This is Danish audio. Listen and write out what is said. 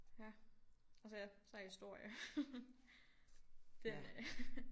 Ja og så ja så historie det øh